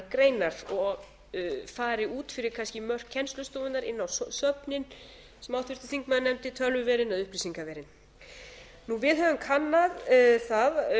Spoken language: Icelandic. greinar og fari út fyrir kannski mörk kennslustofunnar inn á söfnin sem háttvirtur þingmaður nefndi tölvuverin eða upplýsingaverin við höfum kannað það